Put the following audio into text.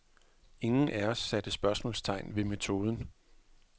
Ingen af os satte spørgsmålstegn ved metoden.